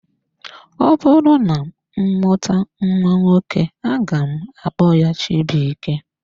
Ọbụrụ na m mụta nwa nwoke aga m akpọ ya Chibuike.